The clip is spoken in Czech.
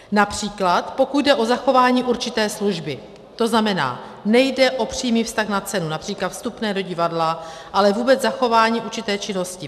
Například pokud jde o zachování určité služby, to znamená, nejde o přímý vztah na cenu, například vstupné do divadla, ale vůbec zachování určité činnosti.